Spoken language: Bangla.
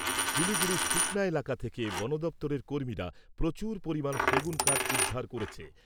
শিলিগুড়ির সুকনা এলাকা থেকে বনদপ্তরের কর্মীরা প্রচুর পরিমাণ সেগুন কাঠ উদ্ধার করেছে।